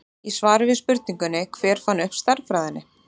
Í svari við spurningunni Hver fann upp stærðfræðina?